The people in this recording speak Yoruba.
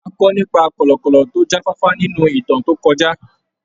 A kọ́ nípa kọ̀lọ̀kọ̀lọ̀ tó jáfáfá nínú ìtàn tó kọjá.